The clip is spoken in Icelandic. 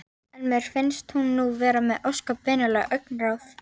En mér finnst hún nú vera með ósköp venjulegt augnaráð.